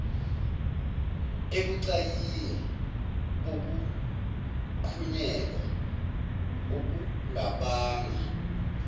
ebucayini bokuqhunyelwa okungabanga